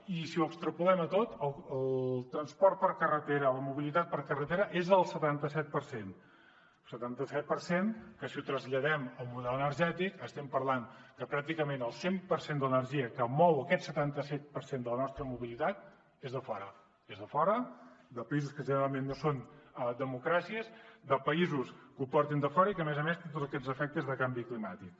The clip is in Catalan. i si ho extrapolem a tot el transport per carretera la mobilitat per carretera és el setanta set per cent setanta set per cent que si el traslladem al model energètic estem parlant que pràcticament el cent per cent de l’energia que mou aquest setanta set per cent de la nostra mobilitat és de fora és de fora de països que generalment no són democràcies de països que ho porten de fora i que a més a més tenen tots aquests efectes de canvi climàtic